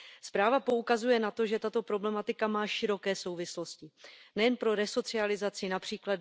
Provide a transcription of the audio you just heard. Zpráva poukazuje na to, že tato problematika má široké souvislosti nejen pro resocializaci, např.